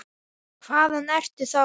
Hvaðan ertu þá?